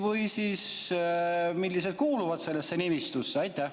Või millised kuuluvad sellesse nimistusse?